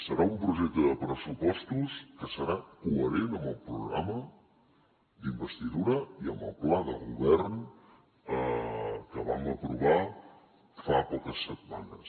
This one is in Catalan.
serà un projecte de pressupostos que serà coherent amb el programa d’investidura i amb el pla de govern que vam aprovar fa poques setmanes